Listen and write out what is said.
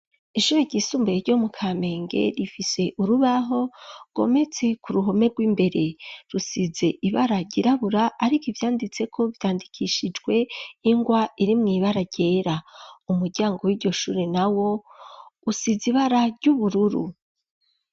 Ishure ryisumbaye ryo mu Kamenge rifise urubaho rwometse ku ruhome rw'imbere, rusize ibara ryirabura ariko ivyanditseko vyandikishijwe ingwa iri mw'ibara ryera, umuryango w'iryo shuri na wo usize ibara ry'ubururu.